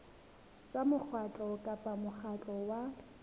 tsa mokgatlo kapa mokgatlo wa